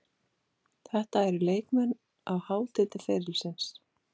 Þetta eru leikmenn á hátindi ferilsins.